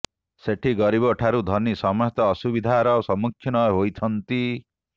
ସେଠି ଗରିବ ଠାରୁ ଧନୀ ସମସ୍ତେ ଅସୁବିଧାର ସମ୍ମୁଖୀନ ହୋଇଛନ୍ତି